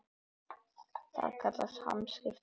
Það kallast hamskipti.